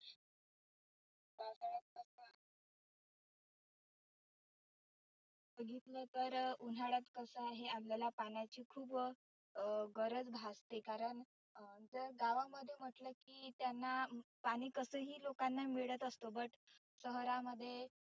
बघितलं तर उन्हाळ्यात कसं आहे आपल्याला पाण्याची खुप अं गरज भासते. कारण अं तर गावामध्ये म्हटलं की त्यांना पाणि कसं ही लोकांना मिळत असतो. but शहरामध्ये